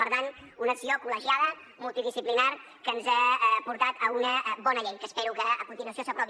per tant una acció col·legiada multidisciplinària que ens ha portat a una bona llei que espero que a continuació s’aprovi